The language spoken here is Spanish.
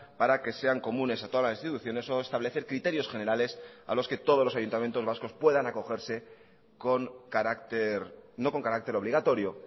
para que sean comunes a todas las instituciones o establecer criterios generales a los que todos los ayuntamientos vascos puedan acogerse con carácter no con carácter obligatorio